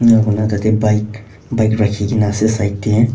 cona tarte bike bike rakhi kina ase side te.